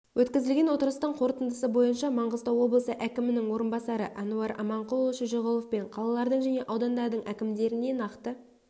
өткізілген отырыстың қорытындысы бойынша маңғыстау облысы әкімінің орынбасары әнуар аманқұлұлы шөжеғұловпен қалалардың және аудандардың әкімдеріне нақты